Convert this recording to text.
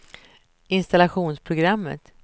installationsprogrammet